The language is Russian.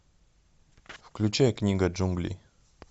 включай книга джунглей